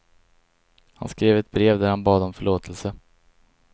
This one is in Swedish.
Han skrev ett brev där han bad om förlåtelse.